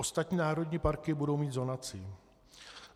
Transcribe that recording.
Ostatní národní parky budou mít zonaci.